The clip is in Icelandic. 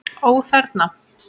Ó: Þerna?